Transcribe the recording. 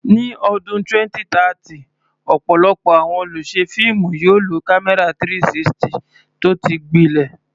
Ní ọdún 2030, ọ̀pọ̀lọpọ̀ àwọn olùṣe fíìmù yóò lo kámẹ́rà 360 tó ti gbilẹ̀.